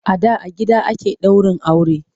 A da a gida ake daurin aure.